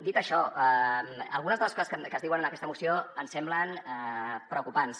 dit això algunes de les coses que es diuen en aquesta moció ens semblen preocupants